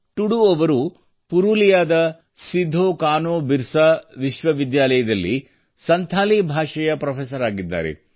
ಟುಡು ಅವರು ಪುರುಲಿಯಾದ ಸಿದ್ದೋ ಕಾನೊ ಬಿರ್ಸಾ ವಿಶ್ವವಿದ್ಯಾಲಯದಲ್ಲಿ ಸಂಥಾಲಿ ಭಾಷೆಯ ಪ್ರೊಫೆಸರ್ ಆಗಿದ್ದಾರೆ